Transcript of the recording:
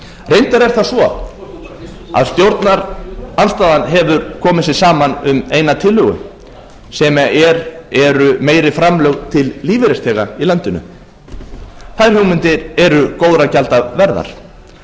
er það svo að stjórnarandstaðan hefur komið sér saman um eina tillögu sem eru meiri framlög til lífeyrisþega í landinu þær hugmyndir eru góðra gjalda verðar